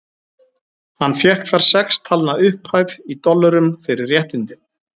Hann fékk þar sex talna upphæð, í dollurum, fyrir réttindin.